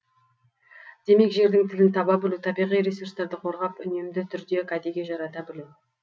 демек жердің тілін таба білу табиғи ресурстарды қорғап үнемді түрде кәдеге жарата білу